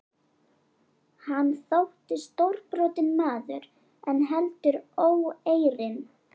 Hann þótti stórbrotinn maður en heldur óeirinn.